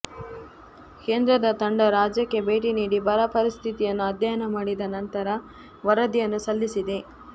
ಕೇಂದ್ರದ ತಂಡ ರಾಜ್ಯಕ್ಕೆ ಭೇಟಿ ನೀಡಿ ಬರ ಪರಿಸ್ಥಿತಿಯನ್ನು ಅಧ್ಯಯನ ಮಾಡಿದ ನಂತರ ವರದಿಯನ್ನೂ ಸಲ್ಲಿಸಿದೆ